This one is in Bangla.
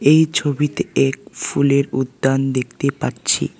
এই ছবিতে এক ফুলের উদ্যান দেখতে পাচ্ছি।